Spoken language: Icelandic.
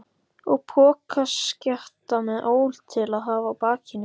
Og pokaskjatta með ól til að hafa á bakinu.